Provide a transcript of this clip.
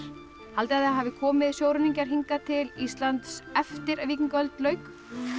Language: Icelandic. haldið þið að hafi komið sjóræningjar til Íslands eftir að víkingaöld lauk